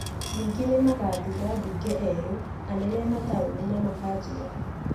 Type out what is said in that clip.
Ningĩ nĩ magathuura a mbunge erũ, anene a mataũni, na makanjũra